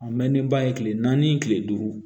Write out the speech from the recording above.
A mɛnnen ba ye kile naani kile duuru